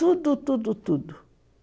Tudo, tudo, tudo.